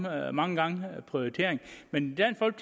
er mange gange et spørgsmål prioritering men